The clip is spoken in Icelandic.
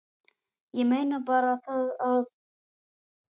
Ég meina bara það að.